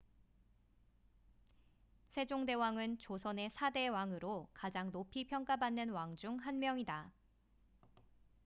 세종대왕은 조선의 4대 왕으로 가장 높이 평가받는 왕 중 한 명이다